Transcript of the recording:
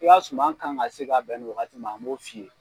I ka suman kan ka se ka bɛn nin wagati man an b'o f'i ye.